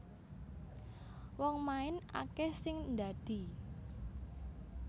Wong main akeh sing ndadi